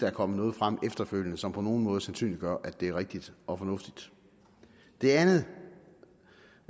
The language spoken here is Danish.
er kommet noget frem efterfølgende som på nogen måde sandsynliggør at det er rigtigt og fornuftigt det andet